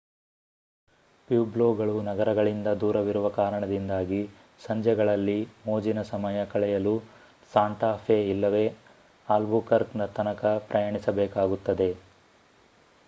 ಪ್ಯೂಬ್ಲೊಗಳು ನಗರಗಳಿಂದ ದೂರವಿರುವ ಕಾರಣದಿಂದಾಗಿ ಸಂಜೆಗಳಲ್ಲಿ ಮೋಜಿನ ಸಮಯ ಕಳೆಯಲು ಸಾಂಟಾ ಫೆ ಇಲ್ಲವೇ ಆಲ್ಬುಕರ್ಕ್ ತನಕ ಪ್ರಯಾಣಿಸಬೇಕಾಗುತ್ತದೆ